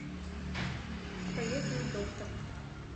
поехали доктор